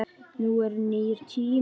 Nú eru nýir tímar.